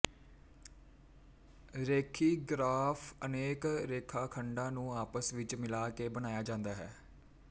ਰੇਖੀ graph ਅਨੇਕ ਰੇਖਾਖੰਡਾਂ ਨੂੰ ਆਪਸ ਵਿੱਚ ਮਿਲਾ ਕੇ ਬਣਾਇਆ ਜਾਂਦਾ ਹੈ